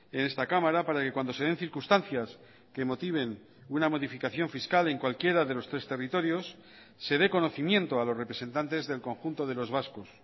en esta cámara para que cuando se den circunstancias que motiven una modificación fiscal en cualquiera de los tres territorios se dé conocimiento a los representantes del conjunto de los vascos